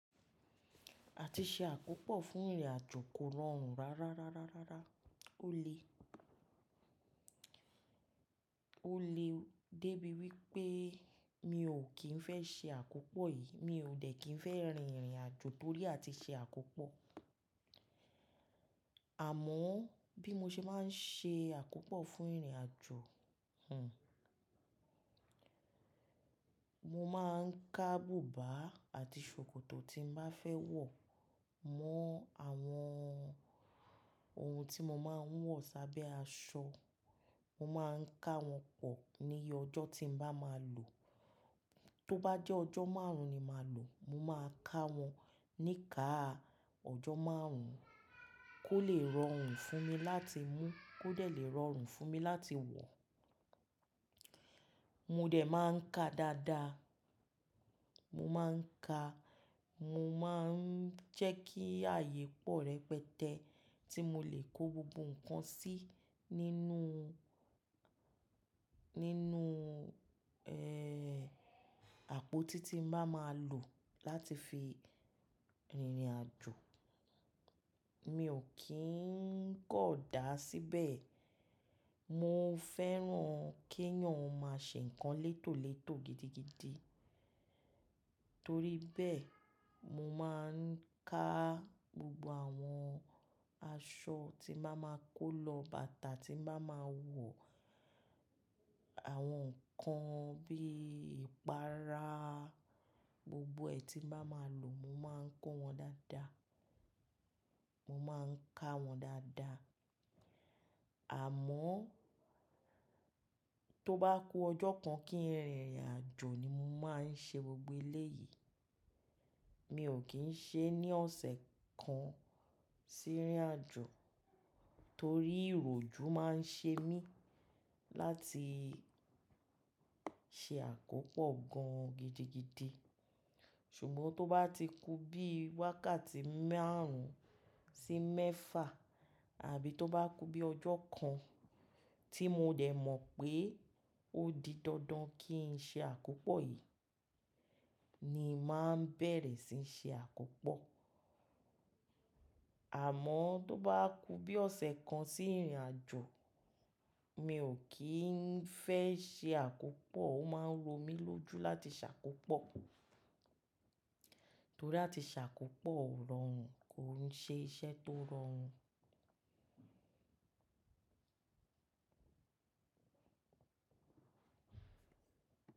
A ti ṣe àkópọ̀ fún ìrìnàjò kó rọrùn rárá, ó lè dé bí wí pé mi ò kí ń fẹ́ ṣe àkópọ̀ yìí, mi ò dẹ̀ kí ń fẹ́ rin ìrìnàjò torí a ti ṣe àkópọ̀. Àmọ́ bí mo ṣe máa ń ṣe àkópọ̀ fún ìrìnàjò, mo máa ń ká bùbá àti ṣòkòtò tí n bá fẹ́ wọ̀ mọ́ àwọn ohun tí mo máa ń wọ̀ sábẹ́ aṣọ. Mo máa ń ká wọn pọ̀ níye ọjọ́ tí n bá máa lò. Tó bá jẹ́ ọjọ́ márùn-ún ni máa lò, mo máa ká wọn ní káà ọjọ́ márùn-ún kó lè rọrùn fún mi láti mú, kó lè rọrùn fún mi láti wọ̀. Mo dẹ̀ máa ń ka dáadáa. Mo máa ń ka, mo máa ń jẹ́ kí ààyè pọ̀ rẹpẹtẹ tí mo lè kó gbogbo nǹkan sí nínú, nínú, ẹ́, àpótí tí n bá máa lò láti fi rìnrìnàjò. Mi ò kí ń kọ̀ dá síbẹ̀. Mo fẹ́ràn kí ẹ̀yàn ó máa ṣe nǹkan létòlétò gidigidi. Torí bẹ́ẹ̀, mo máa ń ká gbogbo àwọn aṣọ tí n bá máa kó lọ, bàtà tí n bá máa wọ̀, àwọn nǹkan bí ìpára, gbogbo ẹ̀ tí n bá máa lò, mo máa ń kó wọn dáadáa. Mo máa ń ká wọn dáadáa. Àmọ́ tó bá ku ọjọ́ kan kí n rìnrìnàjò ni mo máa ń ṣe gbogbo eléyìí. Mi ò kí ń ṣe ní ọ̀sẹ̀ kan sí ìrìnàjò torí ìròjú máa ń ṣe mí láti ṣe àkópọ̀ gan-an gidigidi. Ṣùgbọ́n tó bá ti ku bí wákàtí márùn-ún sí mẹ́fà àbí tó bá ku bí ọjọ́ kan tí mo dẹ̀ mọ̀ pé ó di dandan kí n ṣe àkópọ̀ yìí ni màá bẹ̀rẹ̀ síí ṣe àkópọ̀. Àmọ́ tó bá ku bí ọ̀sẹ̀ kan sí ìrìnàjò, mi ò kí ń fẹ́ ṣe àkópọ̀. Ó máa ń ro mí lójú láti ṣàkópọ̀ torí àti ṣàkópọ̀ ó rọrùn, kó ń ṣe iṣẹ́ tó rọrùn.